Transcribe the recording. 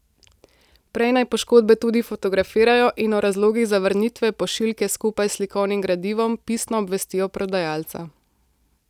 Prej naj poškodbe tudi fotografirajo in o razlogih zavrnitve pošiljke skupaj s slikovnim gradivom pisno obvestijo prodajalca.